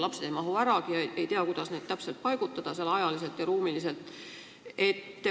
Lapsed ei mahu kuidagi ära, ei tea, kuidas neid ajaliselt ja ruumiliselt täpselt ära paigutada.